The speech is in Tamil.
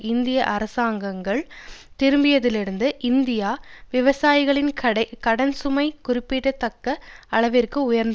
இந்திய அரசாங்கங்கள் திரும்பியதிலிருந்து இந்திய விவசாயிகளின் கடன் சுமை குறிப்பிடத்தக்க அளவிற்கு உயர்ந்துள்ள